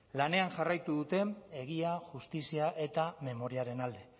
lanean jarraitu duten egia justizia eta memoriaren alde